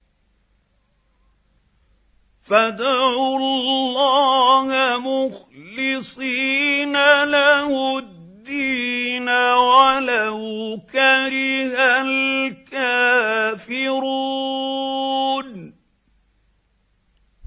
فَادْعُوا اللَّهَ مُخْلِصِينَ لَهُ الدِّينَ وَلَوْ كَرِهَ الْكَافِرُونَ